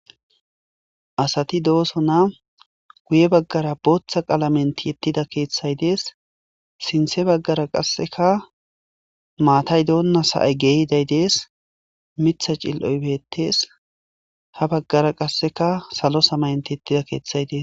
Asati dooso na guye baggara booththa qalamenti ettida keeththay dees sinthe baggara qasseka maatay doonna sa'ay geehiday dees mitha cil'oy beettees ha baggara qasseka salo samayenti yettida keeththay dees.